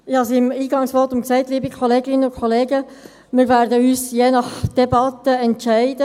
Ich habe in meinem Eingangsvotum gesagt, liebe Kolleginnen und Kollegen, wir würden uns je nach Verlauf der Debatte entscheiden.